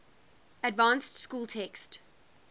advanced school text